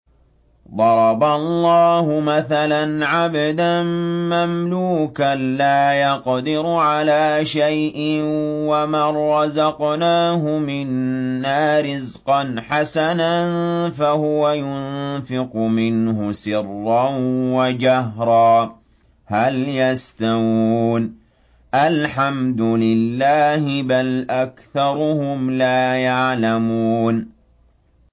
۞ ضَرَبَ اللَّهُ مَثَلًا عَبْدًا مَّمْلُوكًا لَّا يَقْدِرُ عَلَىٰ شَيْءٍ وَمَن رَّزَقْنَاهُ مِنَّا رِزْقًا حَسَنًا فَهُوَ يُنفِقُ مِنْهُ سِرًّا وَجَهْرًا ۖ هَلْ يَسْتَوُونَ ۚ الْحَمْدُ لِلَّهِ ۚ بَلْ أَكْثَرُهُمْ لَا يَعْلَمُونَ